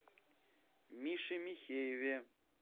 мише михееве